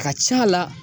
Ka ca la